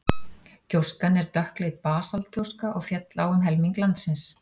Gjóskan er dökkleit basaltgjóska og féll á um helming landsins.